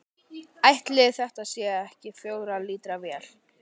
Ætli þetta sé ekki fjögurra lítra vél?